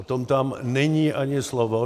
O tom tam není ani slovo.